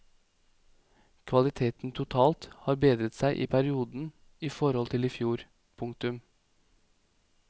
Kvaliteten totalt har bedret seg i perioden i forhold til i fjor. punktum